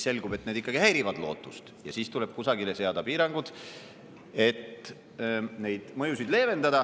Selgub, et need ikkagi häirivad loodust, ja siis tuleb kusagile seada piirangud, et neid mõjusid leevendada.